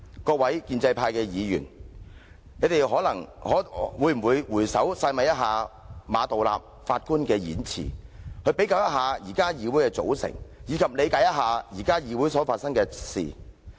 各位建制派議員，你們可會回首細味一下馬道立首席法官的演辭，比較一下現時議會的組成，理解一下現時議會所發生的事情？